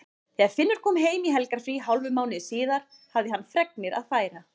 Þegar Finnur kom heim í helgarfrí hálfum mánuði síðar hafði hann fregnir að færa.